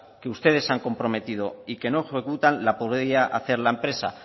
que ustedes han comprometido y que no ejecutan la podría hacer la empresa